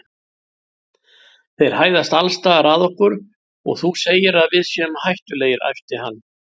Þeir hæðast alls staðar að okkur og þú segir að við séum hættulegir æpti hann.